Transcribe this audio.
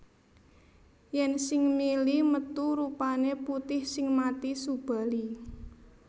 Yen sing mili metu rupane putih sing mati Subali